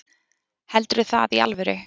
Heldurðu það í alvöru?